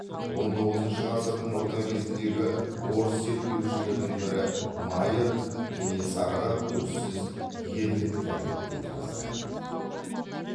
он тоғызыншы ғасырдың орта кезіндегі орыс зерттеушілерінің бірі майер кенесарыға көзсіз ерлік тән еді деп жазды